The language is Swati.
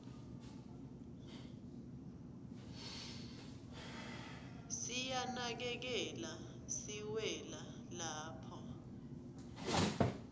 siyanakekela siwela lapha